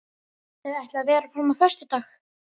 Þau ætluðu að vera fram á föstudag.